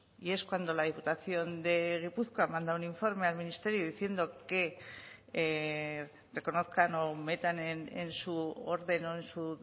y es cuando la diputación de gipuzkoa manda un informe al ministerio diciendo que reconozcan o metan en su orden o en su